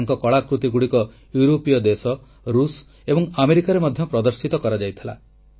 ତାଙ୍କ କଳାକୃତିଗୁଡ଼ିକ ୟୁରୋପୀୟ ଦେଶ ରୁଷ୍ ଏବଂ ଆମେରିକାରେ ମଧ୍ୟ ପ୍ରଦର୍ଶିତ ହୋଇଛି